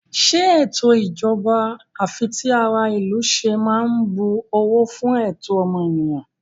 Ṣé ètò ìjọba àfitiaráìlúṣe máa ń bu ọ̀wọ̀ fú ẹ̀tọ́ ọmọnìyàn?